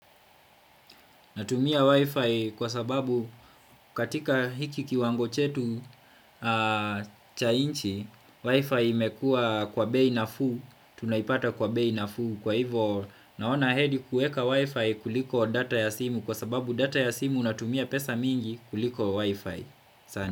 Natumia wifi kwa sababu katika hiki kiwango chetu cha nchi, wifi imekua kwa bei nafuu tunaipata kwa bei nafuu kwa hivo naona heri kueka wifi kuliko data ya simu kwa sababu data ya simu unatumia pesa mingi kuliko wifi.